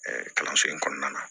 kalanso in kɔnɔna na